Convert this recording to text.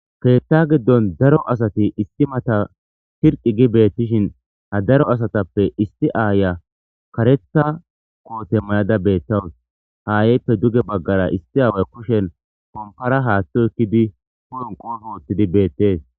ketha giddon daro asati isti mata shirqi gi beettishin ha daro asatappe isti aaya karetha koote mayada beettawus haayeyppe duge baggara isti aaway koshen kompara haaththo ekkidi kuron qoos oottidi beettees